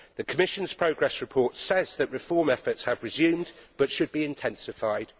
The Commission's progress report says that reform efforts have been resumed but should be intensified.